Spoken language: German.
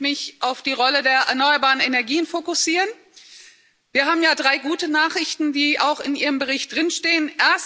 Ich möchte mich auf die Rolle der erneuerbaren Energien fokussieren Wir haben ja drei gute Nachrichten, die auch in Ihrem Bericht drinstehen.